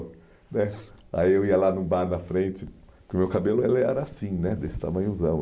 né aí eu ia lá num bar na frente, porque o meu cabelo ele era assim né, desse tamanhozão.